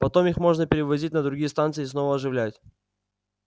потом их можно перевозить на другие станции и снова оживлять